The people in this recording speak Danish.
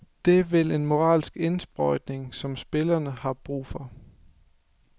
Det vil en moralsk indsprøjtning, som spillerne har brug for.